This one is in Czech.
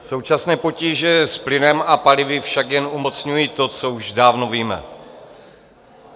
Současné potíže s plynem a palivy však jen umocňují to, co už dávno víme.